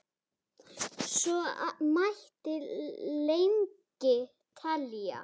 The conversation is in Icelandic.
Svo mætti lengi telja.